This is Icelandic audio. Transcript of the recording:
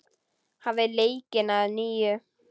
Hafið leikinn að nýju.